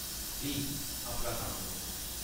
Please , अपना कम्म करो ।